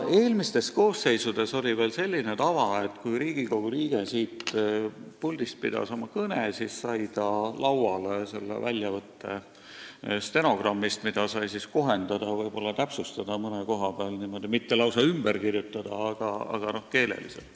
Eelmistes koosseisudes oli veel selline tava, et kui Riigikogu liige pidas siit puldist kõne, siis sai ta lauale stenogrammi väljavõtte, mida sai kohendada – mitte lausa ümber kirjutada, aga võib-olla mõne koha peal keeleliselt täpsustada.